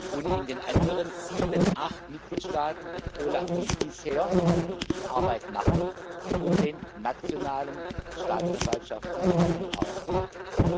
Und in den anderen sieben, acht Mitgliedstaaten wird das OLAF wie bisher die Arbeit machen und den nationalen Staatsanwaltschaften zuarbeiten.